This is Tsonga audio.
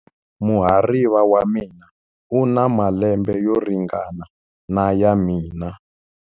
Muhariva wa mina u na malembe yo ringana na ya mina.